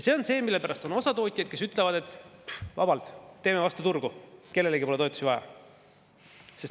See on see, mille pärast on tootjaid, kes ütlevad, et vabalt teeme vastu turgu, kellelegi pole toetusi vaja.